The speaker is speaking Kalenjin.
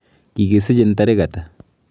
Kikisichin tarik ata.